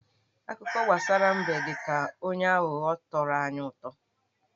Akụkọ gbasara mbe dị ka onye aghụghọ tọrọ anyị utọ.